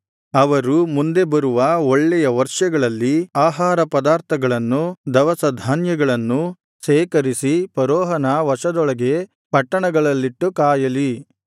ಅವರು ಮುಂದೆ ಬರುವ ಒಳ್ಳೆಯ ವರ್ಷಗಳಲ್ಲಿ ಆಹಾರ ಪದಾರ್ಥಗಳನ್ನು ದವಸಧಾನ್ಯಗಳನ್ನೂ ಶೇಖರಿಸಿ ಫರೋಹನ ವಶದೊಳಗೆ ಪಟ್ಟಣಗಳಲ್ಲಿಟ್ಟು ಕಾಯಲಿ